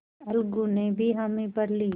अलगू ने भी हामी भर ली